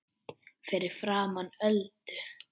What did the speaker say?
Fyrir framan Öldu.